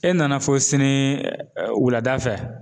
E nana fɔ sini wulada fɛ